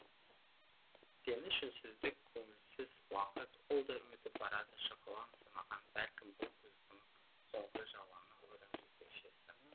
реніш үнсіздік көңілсіз уақыт ол да өтіп барады шықылын санаған бәлкім бұл күздің соңғы жауыны үрімжі көшесі